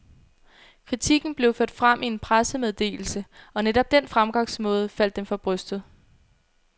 Kritikken blev ført frem i en pressemeddelse, og netop den fremgangsmåde faldt dem for brystet.